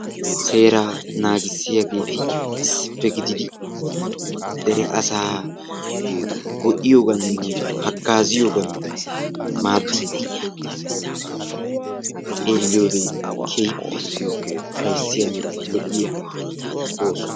Seera naagissiyaageeti issippe gidid dere asa go'iyooganne hagazziyoogan maaddidi xeeliyoode keehippe ufayssiyanne lo''iyaa ooso.